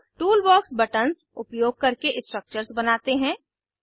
अब toolbox buttons उपयोग करके स्ट्रक्चर्स बनाते हैं